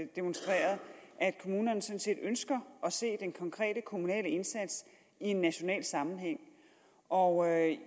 demonstreret at kommunerne sådan set ønsker at se den konkrete kommunale indsats i en national sammenhæng og jeg